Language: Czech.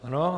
Ano.